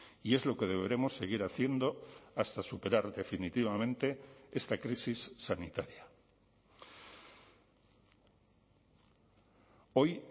y es lo que deberemos seguir haciendo hasta superar definitivamente esta crisis sanitaria hoy